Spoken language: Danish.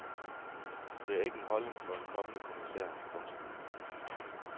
Det er ikke en holdning for en kommende kommissær. punktum